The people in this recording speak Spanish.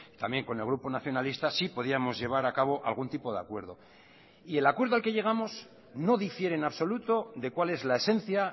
también con el grupo nacionalista si podíamos llevar a cabo algún tipo de acuerdo y el acuerdo al que llegamos no difiere en absoluto de cual es la esencia